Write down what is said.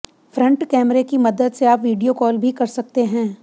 front कैमरे की मदद से आप वीडियो कॉल भी कर सकते हैं